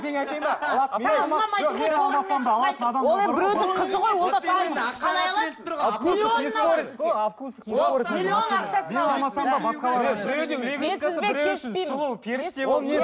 ол енді біреудің қызы ғой